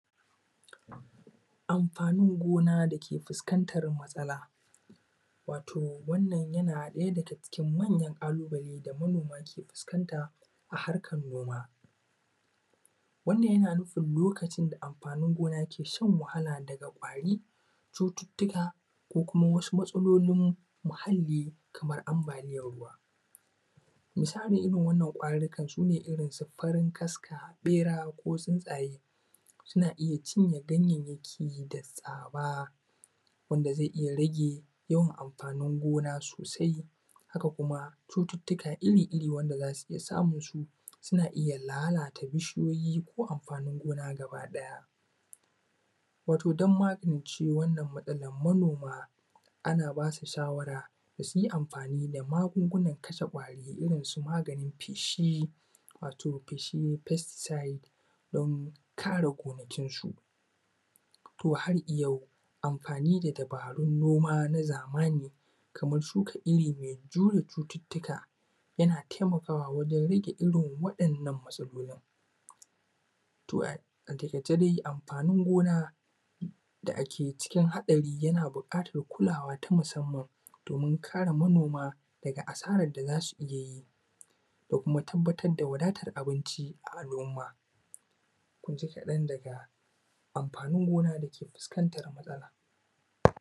amfaanin gona dake fuskantar matsala, wato wannan yana cikin mayan ƙalubale da manooma ke fuskanta a harkar noma. Wannan yana nufin lokacin da amfaanin gona ke shan wahala daga kwari cututtuka ko kuma wasu matsalolin muhalli kamar ambaaliyan ruwa, misalin irin wannan ƙwarurrkan sune irinsu farin kaska, ɓeera koo tsuntsaye suna iya cinye ganyayyaki da tsaaba wanda zai iya rage yawan amfaanin gona sosai haka kuma cututtuka iri-iri wanda za su iya samunsu suna iya lalata bishiyoyi ko amfaanin gona gaba ɗaya, wato don magance wannan matsalar manooma ana baa su shawara da su yi amfaani da magungunan kashe ƙwaari irinsu maganin feeshi wato feeshin pesticide don kare gonakinsu. to har iyau amfaani da dabaarun noma na zamani kamar shuka iri mai jure cututtuka yana taimakaawa wajen riƙe irin waɗannan matsalolin. To ataƙaice dai amfaanin gona da ake cikin haɗari yana buƙatar kulaawa ta musamman doomin kare manooma daga asarar da za su iya yi da kuma tabbatar da wadaatar abinci ga al’umma. Kun ji kaɗan daga amfaanin gona dake fuskantar matsala.